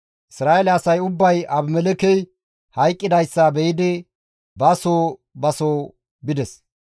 Isra7eele asay ubbay Abimelekkey hayqqidayssa be7idi ba soo ba soo bides.